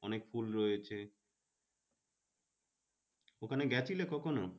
অনেক ফুল রয়েছে ওখানে গিয়েছিলে কখনো।